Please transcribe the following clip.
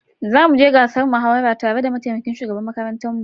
Zamu je gasar muhawarar tare da mataimakin shugaban makarantar mu.